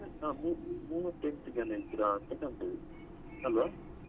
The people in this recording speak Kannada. ಹಾ ಮೂ~ ಮೂವತ್ತೆಂಟು ಜನ ಇದ್ರ ಅಂತ ಕಾಣ್ತದೆ ಅಲ್ವಾ?